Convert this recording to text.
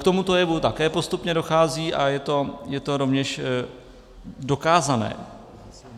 K tomuto jevu také postupně dochází a je to rovněž dokázané.